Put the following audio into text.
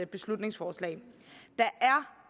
beslutningsforslag der